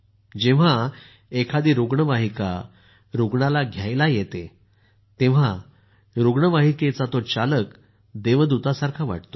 जेंव्हा एखादी रुग्णवाहिका रूग्णांना घ्याला येते तेव्हा त्यांना रुग्णवाहिकेचा चालक देवदूतासारखाच वाटतो